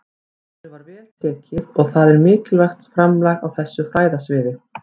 Ritinu var vel tekið og það er mikilvægt framlag á þessu fræðasviði.